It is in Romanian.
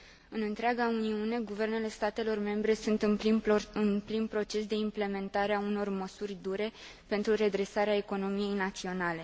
În întreaga Uniune, guvernele statelor membre sunt în plin proces de implementare a unor măsuri dure pentru redresarea economiei naționale.